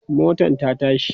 motan ta tashi